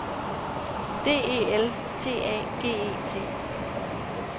D E L T A G E T